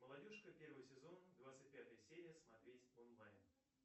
молодежка первый сезон двадцать пятая серия смотреть онлайн